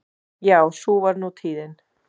Já sú var nú tíðin.